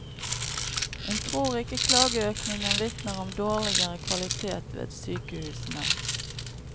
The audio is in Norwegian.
Hun tror ikke klageøkningen vitner om dårligere kvalitet ved sykehusene.